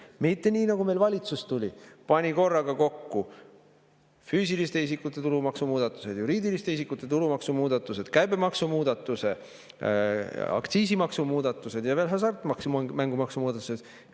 Mitte nii nagu valitsus: pani korraga kokku füüsiliste isikute tulumaksu muudatused, juriidiliste isikute tulumaksu muudatused, käibemaksu muudatuse, aktsiisimaksu muudatused ja veel hasartmängumaksu muudatused.